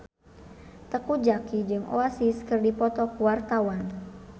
Teuku Zacky jeung Oasis keur dipoto ku wartawan